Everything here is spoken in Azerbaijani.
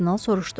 Kardinal soruşdu.